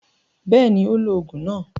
Bẹ́ẹ̀ni, ó lo òògùn náà.